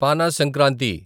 పానా Sankranti